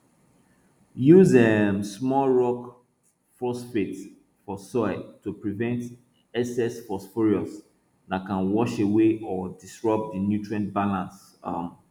use um small rock phosphate for soil to prevent excess phosphorus that can wash away or disrupt the nutrient balance um